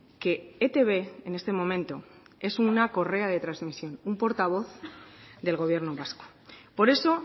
que etb en este momento es una correa de transmisión un portavoz del gobierno vasco por eso